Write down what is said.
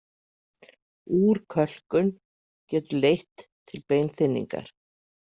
Úrkölkun getur leitt til beinþynningar.